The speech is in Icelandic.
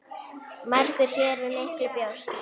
Margur hér við miklu bjóst.